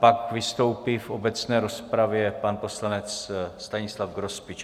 Pak vystoupí v obecné rozpravě pan poslanec Stanislav Grospič.